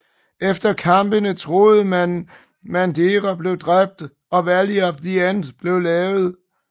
Efter kampen troede man Madara blev drabt og Valley of the End blev lavet